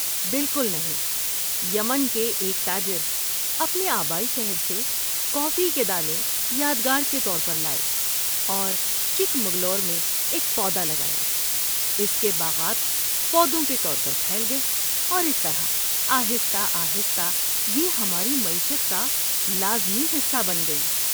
بالکل نہیں! یمن کے ایک تاجر اپنے آبائی شہر سے کافی کے دانے یادگار کے طور پر لائے اور چکمگلور میں ایک پودا لگایا۔ اس کے باغات پودوں کے طور پر پھیل گئے، اور اس طرح آہستہ آہستہ یہ ہماری معیشت کا لازمی حصہ بن گئی۔